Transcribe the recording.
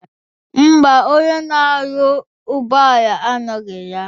Ḿbà, onye na-arụ ụgbọala anọghị ya.